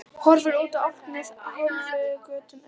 Horfir út á Álftanes hálfluktum augum.